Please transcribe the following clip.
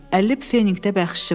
50 fenikdə bəxşişi var.